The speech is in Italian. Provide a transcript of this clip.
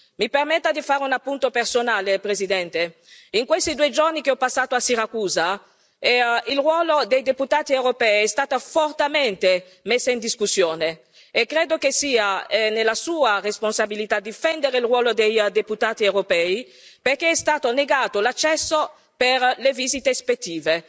Mi permetta di fare un appunto personale, Presidente in questi due giorni che ho passato a Siracusa, il ruolo dei deputati europei è stato fortemente messo in discussione e credo che sia sua responsabilità difende il ruolo dei deputati europei, perché è stato negato l'accesso per le visite ispettive.